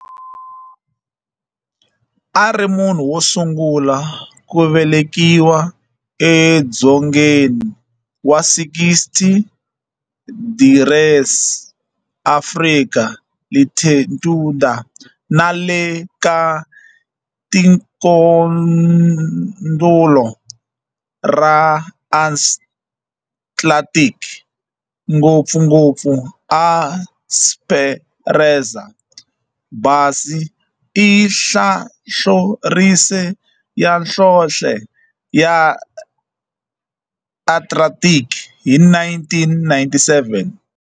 A ri munhu wosungula ku velekiwa edzongeni wa 60 degrees Africa latitude nale ka tikonkulu ra Atlantic, ngopfungopfu eEsperanza Base i nhlahlorise ya nhlonhle ya Atlantic hi 1997.